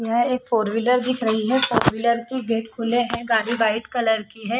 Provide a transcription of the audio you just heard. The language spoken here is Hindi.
यहाँ एक फोर-व्हीलर दिख रही है फोर-व्हीलर की गेट खुले है गाड़ी वाइट कलर की है।